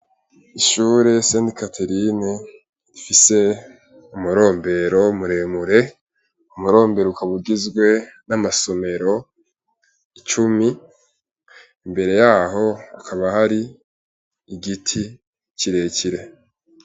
Ishure sent katerine ifise amurombero umuremure umurombere uk abugizwe n'amasomero icumi imbere yaho akaba hari igiti kirekire.